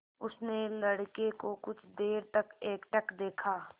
उसने लड़के को कुछ देर तक एकटक देखा